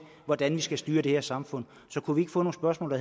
hvordan vi skal styre det her samfund så kunne vi ikke få nogle spørgsmål